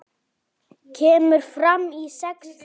Kemur fram í sex þáttum.